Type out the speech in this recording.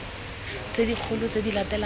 tse dikgolo tse di latelang